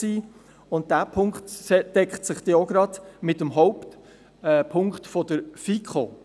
Dieser Punkt deckt sich mit dem Hauptpunkt der FiKo.